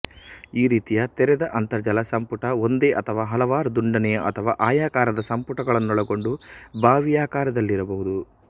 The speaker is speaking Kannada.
ಈ ರೀತಿಯ ತೆರೆದ ಅಂತರ್ಜಲ ಸಂಪುಟ ಒಂದೇ ಅಥವಾ ಹಲವಾರು ದುಂಡನೆಯ ಅಥವಾ ಆಯಾಕಾರದ ಸಂಪುಟಗಳನ್ನೊಳಗೊಂಡು ಬಾವಿಯಾಕಾರದಲ್ಲಿರಬಹುದು